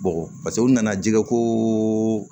Bɔn paseke u nana jɛgɛ ko